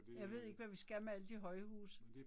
Jeg ved ikke hvad vi skal med alle de højhuse